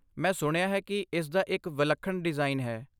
ਮੈਂ ਸੁਣਿਆ ਹੈ ਕਿ ਇਸ ਦਾ ਇੱਕ ਵਿਲੱਖਣ ਡਿਜ਼ਾਈਨ ਹੈ